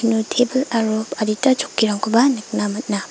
uno tebil aro adita chokkirangkoba nikna man·a.